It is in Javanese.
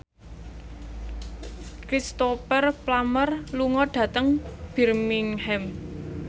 Cristhoper Plumer lunga dhateng Birmingham